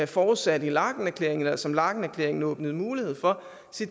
forudsat i laekenerklæringen eller som laekenerklæringen åbnede mulighed for